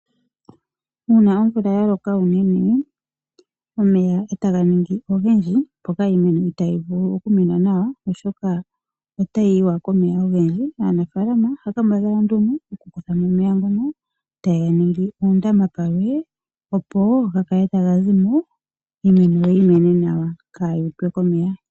Uuna omvula ya loka uunene omeya etaga ningi ogendji mpoka iimeno itayi vulu oku mena nawa, oshoka otayi yiwa komeya ogendji . Aanafalama ohaya kambadhala nduno oku kuthamo omeya ngono etaya ga ningi ondama palwe opo ga kale taga zimo iimeno yi mene nawa kayuutwe komeya.